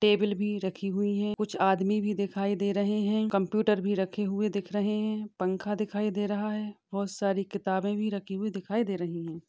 Table भी रखी हुई है कुछ आदमी भी दिखाई दे रहे है कंप्यूटर भी रखे हुए दिख रहे है पंखा दिखाई दे रहा है बहुत सारी किताब भी रखीं हुई दिखाई दे रहा है।